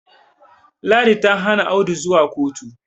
ladi ta Hana Audu zuwa kotu